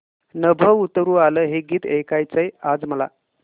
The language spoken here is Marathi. नभं उतरू आलं हे गीत ऐकायचंय आज मला